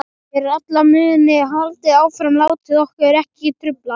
Fyrir alla muni haldið áfram, látið okkur ekki trufla.